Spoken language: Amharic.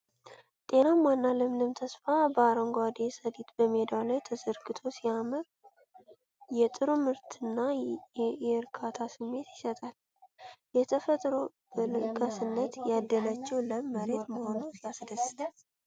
ጤናማና ለምለም ተስፋ! አረንጓዴው ሰሊጥ በሜዳው ላይ ተዘርግቶ ሲያምር! የጥሩ ምርትና የእርካታ ስሜት ይሰጣል። ተፈጥሮ በለጋስነት ያደለችው ለም መሬት መሆኑ ሲያስደስት!